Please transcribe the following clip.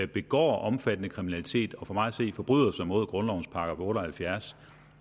begår omfattende kriminalitet og for mig at se forbryder sig mod grundlovens § otte og halvfjerds